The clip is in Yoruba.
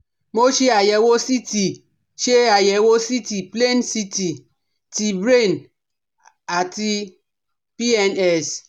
Mo ṣe àyẹ̀wò CT ṣe àyẹ̀wò CT plain CT ti Brain àti PNS